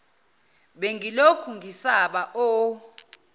bengilokhu ngisaba o